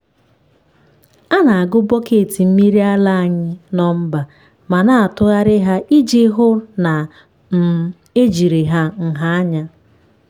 a na-agụ bọket mmiri ara anyị nọmba ma na-atụgharị ha iji hụ na um ejiri ha nha anya.